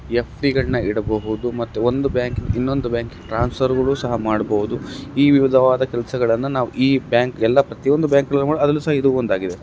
ಫ್.ಬಿ ಗಳನ್ನ ಇಡಬಹುದು ಮತ್ತೆ ಒಂದು ಬ್ಯಾಂಕಿಂದ ಇನ್ನೊಂದು ಬ್ಯಾಂಕಿಗೆ ಟ್ರಾನ್ಸ್ಫರ್ಗಳು ಕೂಡಾ ಮಾಡಬಹುದು ಈ ವಿವಿಧವಾದ ಕೆಲಸಗಳನ್ನ ನಾವ್ ಈ ಬ್ಯಾಂಕ್ ಎಲ್ಲಾ ಪ್ರತಿಯೊಂದು ಬ್ಯಾಂಕ್ಗ ಳಲ್ಲೂ ಅದ್ರಲ್ಲೂ ಸಹ ಇದು ಒಂದಾಗಿದೆ .